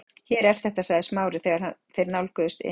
Hér er þetta- sagði Smári þegar þeir nálguðust inn